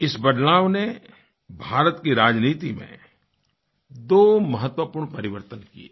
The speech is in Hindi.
इस बदलाव ने भारत की राजनीति में दो महत्वपूर्ण परिवर्तन किये